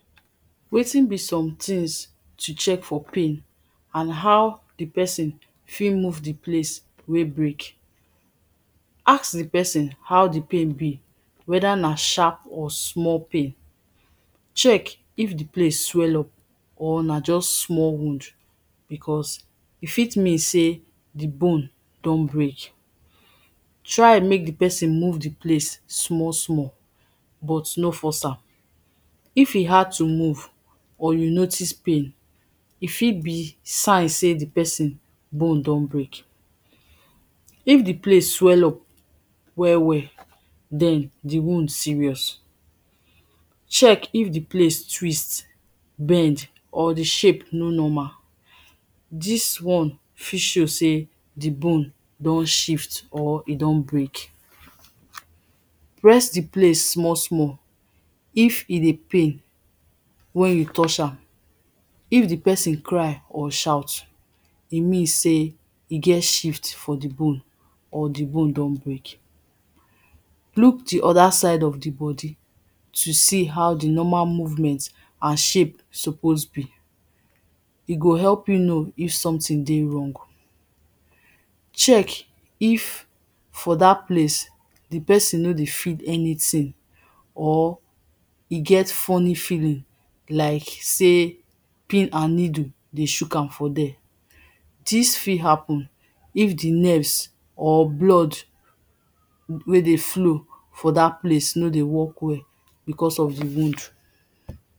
Wetin be some things to check for pain and how di person fi move di place wey break Aks di person how di pain be, whether na sharp or small pain. Check if di place swell up or na just small wound, because e fit mean sey, di bone don break. Try make di person move di place small small, but no force am. If e hard to move, or you notice pain, e fit be sign sey di person bone don break. If di place swell up well well, den di wound serious, check if di place twist, bend or di shape no normal, dis one fit show sey, di bone don shift or e don break. Press di place small small, if e dey pain wen you touch am, if di person cry or shout, e mean sey eget shift for di bone or di bone don break. Look di other side of di body to see how di normal movement and shape suppose be. E go help you know if some thing dey wrong. Check if for dat place, di person nor dey feel anything or e get funny feeling, like sey pin and niddle dey shook am for there, dis fi happen if di nerves or blood wey dey flow for dat place no dey work well, because of di wound.